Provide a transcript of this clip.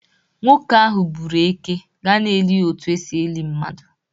Nwoke ahụ gbụrụ Éké, ga-eli ya otu esi eli mmadu.